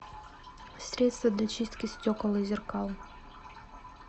средство для чистки стекол и зеркал